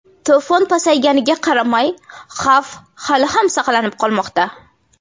To‘fon pasayganiga qaramay, xavf hali ham saqlanib qolmoqda.